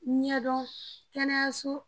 Ɲɛdɔn kɛnɛyaso